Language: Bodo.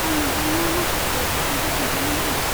आं नोंथांनो माखासे बिथोनफोर खोन्थानो लुगैदों।